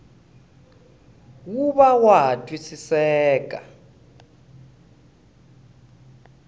wu va wa ha twisiseka